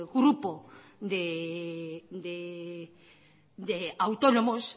grupo de autónomos